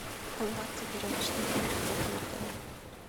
как добраться в веревочный парк в этом отеле